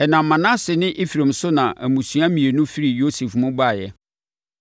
Ɛnam Manase ne Efraim so na mmusua mmienu firii Yosef mu baeɛ.